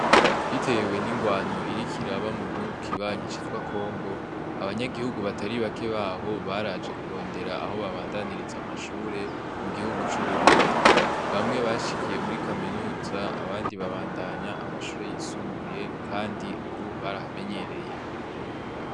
Bitewe n'ingwano iriko iraba mugihugu kibanyi citwa Congo, abanyaguhugu batari bake baho baraje kurondera aho babandaniriza amashure mugihugu c'Uburundi ;bamwe bashikiye muri Kaminuza abandi babandanya amashure yisumbuye kandi barahamenyereye.